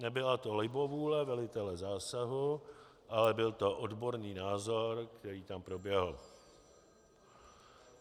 Nebyla to libovůle velitele zásahu, ale byl to odborný názor, který tam proběhl.